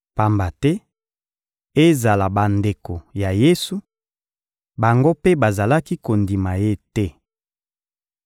Pamba te, ezala bandeko ya Yesu, bango mpe bazalaki kondima Ye te.